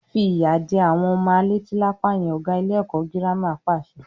Fi ìyà jẹ àwọn ọmọ a leti lápá yẹn! Ọ̀gá ilé ẹ̀kọ́ girama pàṣẹ.